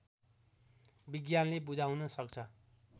विज्ञानले बुझाउन सक्छ